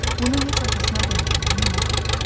Bunu heç atasına demədiyini indi xatırladı.